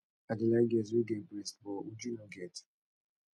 i dey like girls wey get breast but uju no get